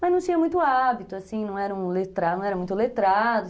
Mas não tinha muito hábito, não eram, não eram muito letrados.